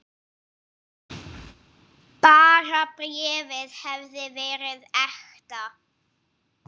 Bara bréfið hefði verið ekta!